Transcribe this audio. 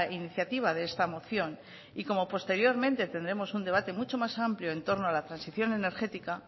iniciativa de esta moción y como posteriormente tendremos un debate mucho más amplio en torno a la transición energética